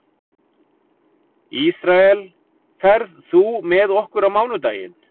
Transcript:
Ísrael, ferð þú með okkur á mánudaginn?